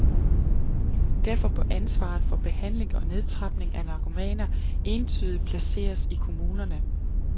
Derfor bør ansvaret for behandling og nedtrapning af narkomaner entydigt placeres i kommunerne.